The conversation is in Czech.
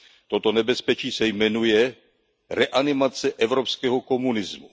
Toto nebezpečí se jmenuje reanimace evropského komunismu.